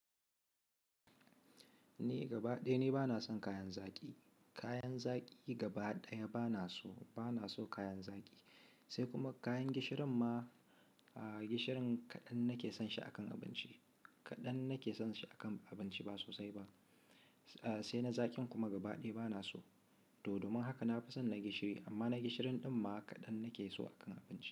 Ni gaba ɗaya ni bana son ka'yan zaƙi. Kayan zaƙi gaba ɗaya bana so, bana son kayan zaƙi. Sai kuma kayan gishirin ma, gishirin kaɗan nake son shi a kan abinci. Kaɗan nake son shi a kan abinci ba sosai ba. Sai na zaƙin kuma gaba ɗaya bana so. Toh domin haka na fi son na gishiri, amma na gishirin ɗin ma kaɗan nake so a kan abinci.